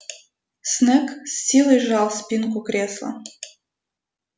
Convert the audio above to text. снегг с силой сжал спинку кресла